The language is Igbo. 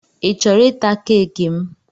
I chọrọ ịta keeki m?